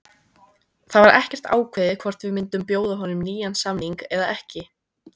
Það var ekkert ákveðið hvort við myndum bjóða honum nýjan samning eða ekki.